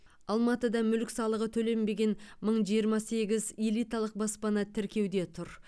алматыда мүлік салығы төленбеген мың жиырма сегіз элиталық баспана тіркеуде тұр